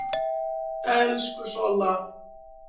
Elsku Solla.